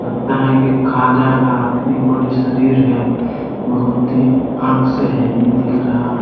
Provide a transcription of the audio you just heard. है की खा जाएगा इतनी बड़ी शरीर है। बहुत ही आंख से हैवी दिख रहा--